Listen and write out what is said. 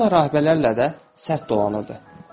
Amma rahibələrlə də sərt dolanırdı.